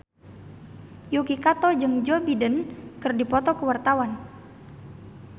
Yuki Kato jeung Joe Biden keur dipoto ku wartawan